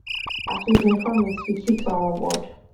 as we bin promise we keep to our word